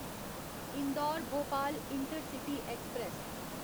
Indore Bhopal intercity express